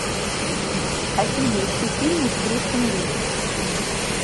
афина ищу фильмы с брюсом ли